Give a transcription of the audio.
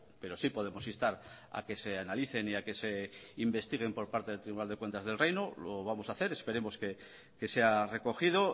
pero sí podemos instar a que se analicen y a que se investiguen por parte del tribunal de cuentas del reino lo vamos a hacer esperemos que sea recogido